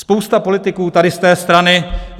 Spousta politiků tady z té strany...